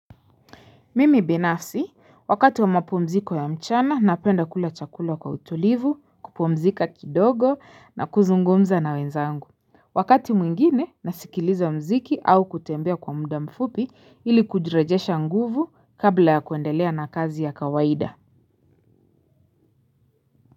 Mimi binafsi wakati wa mapumziko ya mchana napenda kula chakula kwa utulivu kupumzika kidogo na kuzungumza na wenzangu wakati mwingine nasikiliza mziki au kutembea kwa muda mfupi ili kujirejesha nguvu kabla ya kuendelea na kazi ya kawaida.